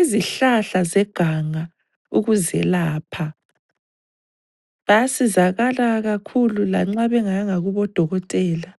izihlahla zeganga ukuzelapha. Bayasizakala kakhulu lanxa bengayanga kubodokotela.